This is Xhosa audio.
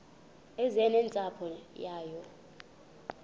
eze nentsapho yayo